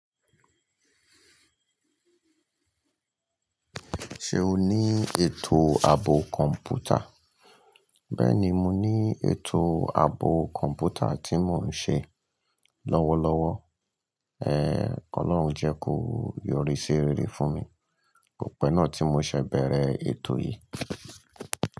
Ṣé o ní ètò ààbò kọ̀ǹpútà? Bẹ́ẹ̀ni, mo ní ètò ààbò kọ̀ǹpútà tí mò ń ṣe lọ́wọ́lọ́wọ́. Ọlọ́run jẹ́ kó yọrí sí rere fún mi. Kò pẹ́ náà tí mo ṣe bẹ̀rẹ̀ ètò yìí.